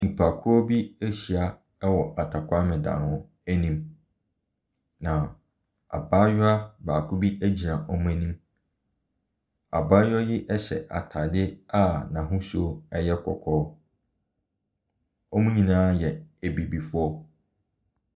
Nnipakuo bi ahyia wɔ atakwaame dan mu. Na abaayewa baako bi gyina wɔn anim. Abaayewa yi hyɛ ataade a ahosuo yɛ kɔkɔɔ. Wɔn nyinaa yɛ abibifoɔ.